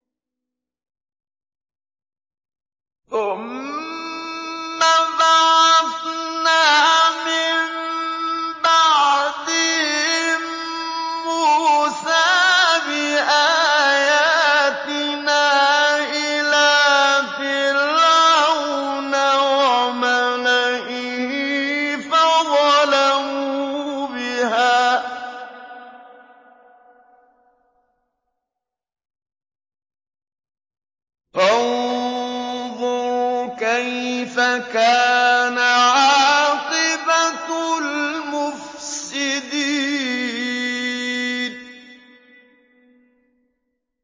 ثُمَّ بَعَثْنَا مِن بَعْدِهِم مُّوسَىٰ بِآيَاتِنَا إِلَىٰ فِرْعَوْنَ وَمَلَئِهِ فَظَلَمُوا بِهَا ۖ فَانظُرْ كَيْفَ كَانَ عَاقِبَةُ الْمُفْسِدِينَ